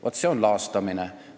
Vaat see on laastamine.